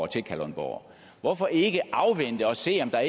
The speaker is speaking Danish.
til kalundborg hvorfor ikke afvente og se om der